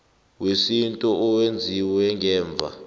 wesintu owenziwe ngemva